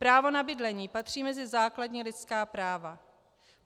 Právo na bydlení patří mezi základní lidská práva.